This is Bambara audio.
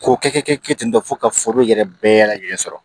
K'o kɛ kɛ kɛ ten tɔ fo ka foro yɛrɛ bɛɛ lajɛlen sɔrɔ